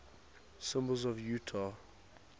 symbols of utah